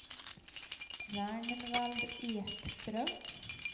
Ragnvald Ekström